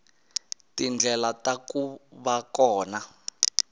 tindlela ta ku va kona